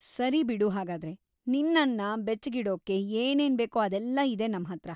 ಸರಿ ಬಿಡು ಹಾಗಾದ್ರೆ, ನಿನ್ನನ್ನ ಬೆಚ್ಚಗಿಡೋಕೇ ಏನೇನ್‌ ಬೇಕೋ ಅದೆಲ್ಲ ಇದೆ ನಮ್ಹತ್ರ.